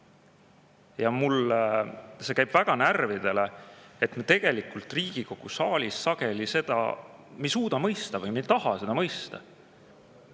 Ja mulle see käib väga närvidele, et me tegelikult Riigikogu saalis sageli seda ei suuda mõista või ei taha seda mõista.